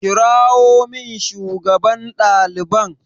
Kirawo min shugaban ɗaliban!